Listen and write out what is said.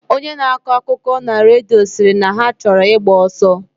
Onye na akọ akụkọna redio, siri na ha choro igba oso.